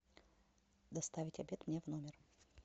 доставить обед мне в номер